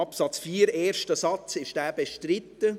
Ist der erste Satz von Absatz 4 bestritten?